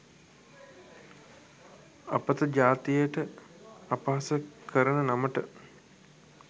අපත ජාතියට අපහාස කරන නමට.